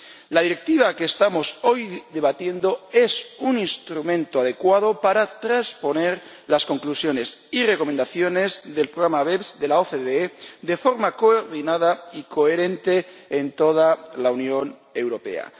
La Directiva que estamos hoy debatiendo es un instrumento adecuado para trasponer las conclusiones y recomendaciones del programa BEPS de la OCDE de forma coordinada y coherente en toda la Unión Europea.